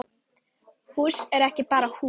Hús er ekki bara hús.